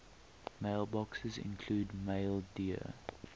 mailboxes include maildir